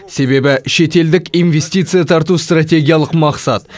себебі шетелдік инвестиция тарту стратегиялық мақсат